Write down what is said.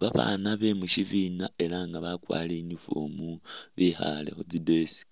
Babaana be mu syibina ela nga bakwarire uniform bekhaale khu tsi desk,